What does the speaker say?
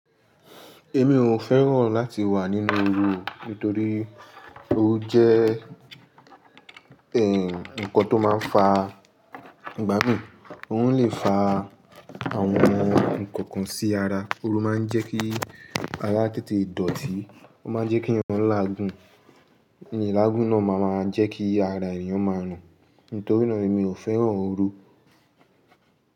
Èmi ò fẹ́ràn láti wà nínú oru nítorí ó jẹ́, ẹ́, ǹkan tó máa ń fa ìgbámí. Ó lè fa àwọn ǹkan kan sí ara. Oru máa ń jẹ́ kí ara tètè dọ̀tí, ó máa ń jẹ́ kí èèyàn láàgùn, ni ilà ìgún náà máa máa jẹ́ kí ara èèyàn máa rùn. Nítorínà ẹ́, èmi ò fẹ́ràn oru.